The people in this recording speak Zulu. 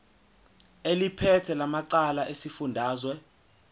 eliphethe lamarcl esifundazwe